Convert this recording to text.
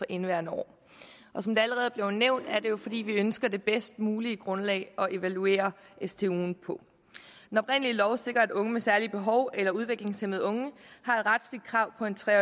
indeværende år som det allerede er blevet nævnt er det jo fordi vi ønsker det bedst mulige grundlag at evaluere stuen på den oprindelige lov sikrer at unge med særlige behov eller udviklingshæmmede unge har et retligt krav på en tre